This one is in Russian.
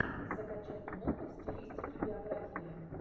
закачай киноху в стилистике биографии